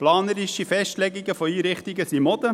Planerische Festlegungen von Einrichtungen sind Mode.